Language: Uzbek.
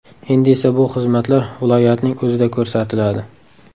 Endi esa bu xizmatlar viloyatning o‘zida ko‘rsatiladi”.